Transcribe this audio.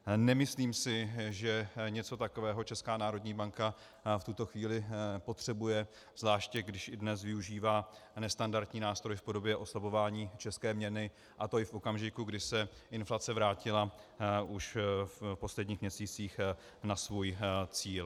Nemyslím si, že něco takového Česká národní banka v tuto chvíli potřebuje, zvláště když i dnes využívá nestandardní nástroj v podobě oslabování české měny, a to i v okamžiku, kdy se inflace vrátila už v posledních měsících na svůj cíl.